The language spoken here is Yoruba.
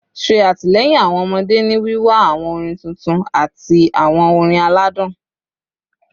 Ṣe atilẹyin awọn ọmọde ni wiwa awọn orin titun ati awọn orin aladun